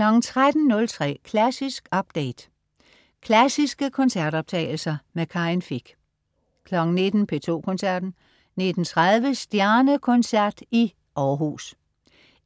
13.03 Klassisk update. Klassiske koncertoptagelser. Karin Fich 19.00 P2 Koncerten. 19.30 Stjernekoncert i Århus.